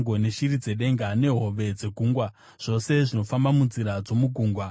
neshiri dzedenga, nehove dzegungwa, zvose zvinofamba munzira dzomugungwa.